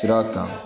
Sira kan